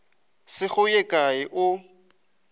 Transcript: se go ye kae o